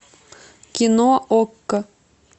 кино окко